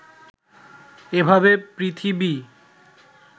এভাবে পৃথিবী